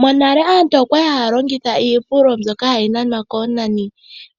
Monale aantu okwali haya longitha iipululo mbyoka kwali hayi nanwa koonani